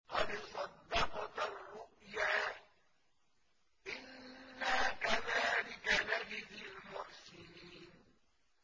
قَدْ صَدَّقْتَ الرُّؤْيَا ۚ إِنَّا كَذَٰلِكَ نَجْزِي الْمُحْسِنِينَ